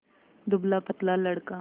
दुबलापतला लड़का